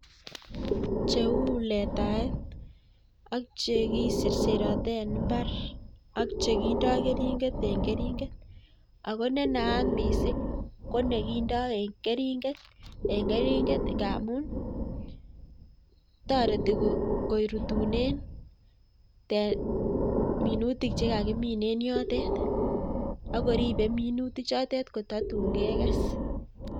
Cheu letaet ak chekiserserote en imbaar ak chekindo keringet ako nenaat missing konekindoo en keringeet ngamun toretii korutunen minutiik chekakimin en yotet ak koribe minutichoton kototun keges